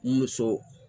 Muso